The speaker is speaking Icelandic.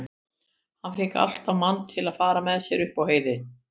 Hann fékk alltaf mann til að fara með sér upp á heiði.